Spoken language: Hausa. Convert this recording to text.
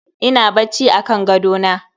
Ina bacci akan gadona.